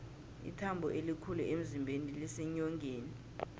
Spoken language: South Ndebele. ithambo elikhulu emzimbeni liseenyongeni